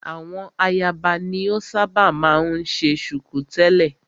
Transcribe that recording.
Àwọn ayaba ni o ṣábà máa ń ṣe ṣùkú tẹ̀lẹ́.